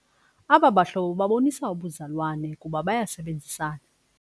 Aba bahlobo babonisa ubuzalwane kuba bayasebenzisana.